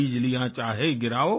बिजलियाँ चाहे गिराओ